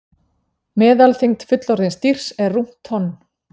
Meðalþyngd fullorðins dýrs er rúmt tonn.